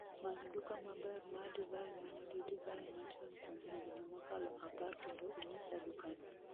Many duka maber ma divai ma nigi divai machon kuom higni mokalo apar kendo inyisa dukano